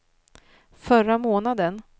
förra månaden